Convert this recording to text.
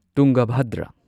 ꯇꯨꯡꯒꯥꯚꯗ꯭ꯔ